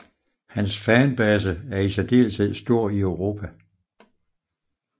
Hans fanbase er i særdeleshed stor i Europa